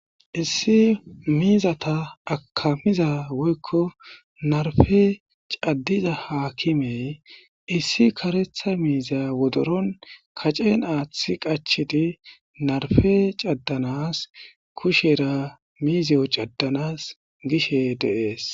Issi miizata akamiza woykko narfe caddiza haakimey issi karetha miiza wodoron kacen aaththi qachidi narfe caddanas kushera miizeyo caddanas gishe deees.